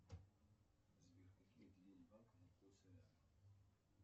сбер какие отделения банка находятся рядом